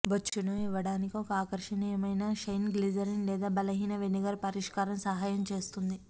బొచ్చును ఇవ్వడానికి ఒక ఆకర్షణీయమైన షైన్ గ్లిజరిన్ లేదా బలహీన వినెగర్ పరిష్కారం సహాయం చేస్తుంది